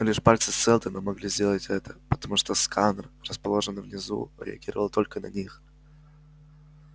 лишь пальцы сэлдона могли сделать это потому что сканер расположенный внизу реагировал только на них